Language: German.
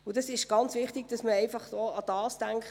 – Das ist nicht der Fall.